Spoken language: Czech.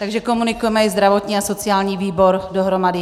Takže komunikujeme i zdravotní a sociální výbor dohromady.